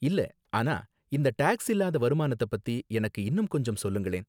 இல்ல, ஆனா இந்த டாக்ஸ் இல்லாத வருமானத்த பத்தி எனக்கு இன்னும் கொஞ்சம் சொல்லுங்களேன்.